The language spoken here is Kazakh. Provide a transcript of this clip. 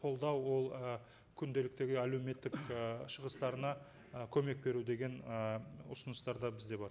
қолдау ол і күнделіктегі әлеуметтік і шығыстарына ы көмек беру деген ы ұсыныстар да бізде бар